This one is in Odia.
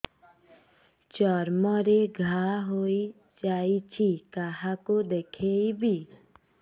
ଚର୍ମ ରେ ଘା ହୋଇଯାଇଛି କାହାକୁ ଦେଖେଇବି